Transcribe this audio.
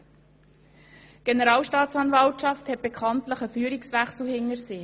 Die Generalstaatsanwaltschaft hat bekanntlich einen Führungswechsel hinter sich.